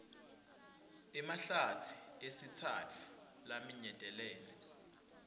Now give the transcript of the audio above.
emahlatsi esitsatfu laminyetelene